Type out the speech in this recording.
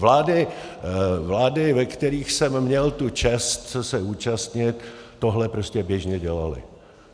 Vlády, ve kterých jsem měl tu čest se účastnit, tohle prostě běžně dělaly.